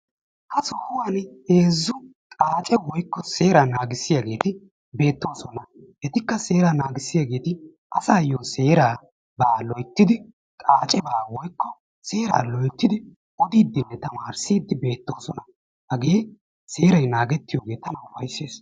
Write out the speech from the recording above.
Ha sohuwan heezzu xaace woykko seera naagissiyaageti beetoosona. Etikka seera naagissiyaageeti asayyo seeraba loyttidi woykko xaaceba loyttidi odidenne tamarisside beettoosona. hage seeray naagettiyo tana upayssees.